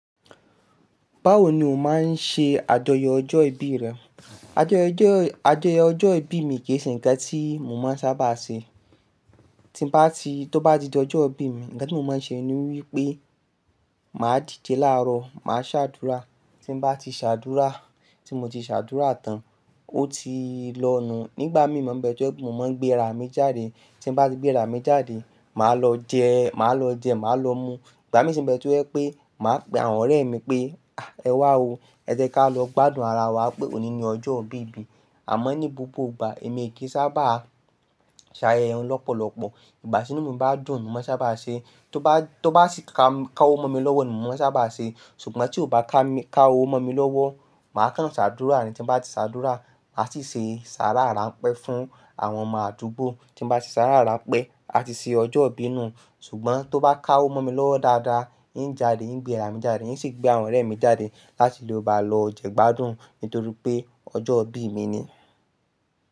Báwo ni o máa ń ṣe àjọyọ̀ ọjọ́ ìbí rẹ? Àjọyọ̀ ọjọ́ ìbí mi kì í ṣe ǹkan tí mo máa ń sábà ṣe. Tí nbá ti, tó bá di ọjọ́ ìbí mi, ǹkan tí mo máa ń ṣe ni wípé, màá dìde láàárọ̀, màá ṣàdúrà. Tí n bá ti ṣàdúrà, tí mo ti ṣàdúrà tán, ó ti lọ nù. Nígbà míì mo n bẹ to jẹ́ pe mo máa ń gbé ara mi jáde. Tí nbá ti gbé ara mi jáde, màá lọ jẹ, màá lọ mu. Ìgbà míì si n bẹ́ẹ̀ tó jẹ́ pé, màá pe àwọn ọ̀rẹ́ mi pé, ẹ wá o, ẹ jẹ́ ká lọ gbádùn ara wa pé òní ni ọjọ́ ìbí mi." Àmọ́ ní gbogbo ìgbà, èmi kì í sábà ṣayẹyẹ wọn lọ́pọ̀lọ́pọ̀. Ìgbà tií inú mi bá dùn ni mo mọ sábà ṣe. Tó bá sì ká owó mọ́ mi lọ́wọ́ ni mo mọ sábà ṣe. Ṣùgbọ́n tí ó bá ká owó mọ́ mi lọ́wọ́, màá kán ṣàdúrà ní. Tí n bá ti ṣàdúrà, ma sì ṣe saára ráńpẹ́ fún àwọn ọmọ àdúgbò. Tí b bá ti ṣàdúrà ráńpẹ́, a ti ṣe ọjọ́ ìbí nù. Ṣùgbọ́n tó bá ká owó mọ́ mi lọ́wọ́ dáadáa, ín ń jáde, ín ń gbé ara mi jáde, ín sì gbé àwọn ọ̀rẹ́ mi jáde láti lè bá lọ jẹ gbádùn nítorí pé ọjọ́ ìbí mi ni.